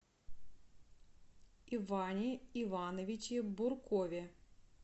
иване ивановиче буркове